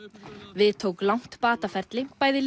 við tók langt bataferli bæði